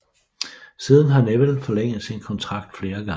Siden har Neville forlænget sin kontrakt flere gange